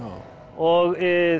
og